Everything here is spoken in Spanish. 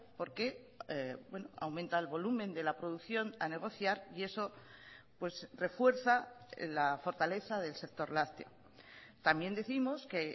porque aumenta el volumen de la producción a negociar y eso refuerza la fortaleza del sector lácteo también décimos que